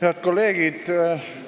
Head kolleegid!